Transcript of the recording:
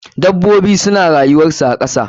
Dabobi suna rayuwar su a kasa.